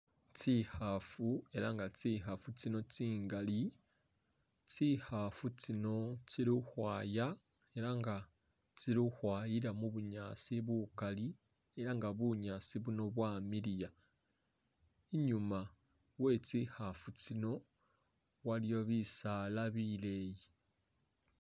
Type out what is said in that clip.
Tsikhafu elah nga tsikhafu tsino tsingaali tsikhafu tsino tsili khukhwaya elah nga tsilikhukhwayila mu'bunyaasi bukaali elah nga bunyaasi buno bwamiliya inyuma wetsikhafu tsiino waliyo bisaala bileeyi